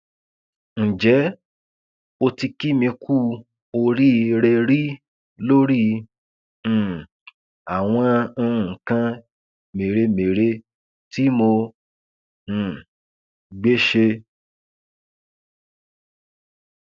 ǹjẹ o ti kì mí ku oríire rí lórí um àwọn nǹkan mèremère tí mo um gbé ṣe